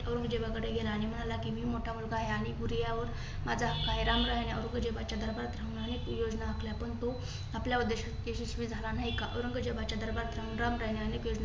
औरंगजेबाकडे गेला आणि म्हणाला मी मोठा मुलगा आहे. आणि गुरियावर माझा हक्क आहे. रामरायाने औरंगजेबाच्या दरबारात थांबून अनेक योजना आखल्या परंतु तो आपल्या उद्देशात यशस्वी झाला नाही का औरंगजेबाच्या दरबार